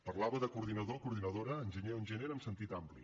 parlava de coordinador coordinadora enginyer o enginyera en sentit ampli